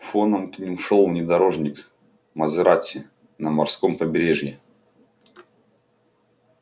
фоном к ним шёл внедорожник мазерати на морском побережье